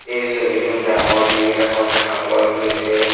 এই ছবিটো ডাঙৰ গেট এখন দেখা পোৱা গৈছে।